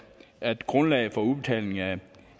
at grundlaget for udbetaling af